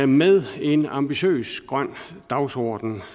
med en ambitiøs grøn dagsorden